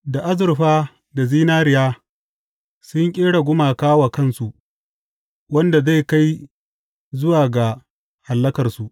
Da azurfa da zinariya sun ƙera gumaka wa kansu wanda zai kai zuwa ga hallakarsu.